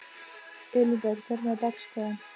Elínbet, hvernig er dagskráin?